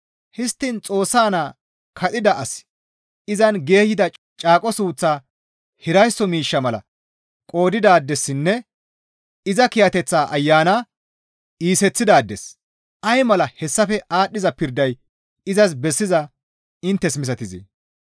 Histtiin Xoossa naa kadhida asi izan geeyida caaqo suuththaa hiraysso miishsha mala qoodidaadessinne iza kiyateththaa Ayana iiseththidaades ay mala hessafe aadhdhiza pirday izas bessizaa inttes misatizee?